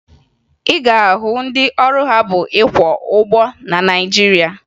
Ị ga-ahụ ndị ọrụ ha bụ ịkwọ ụgbọ na Naịjirịa